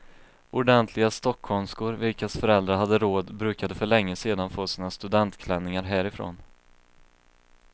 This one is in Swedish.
Ordentliga stockholmskor vilkas föräldrar hade råd brukade för länge sedan få sina studentklänningar härifrån.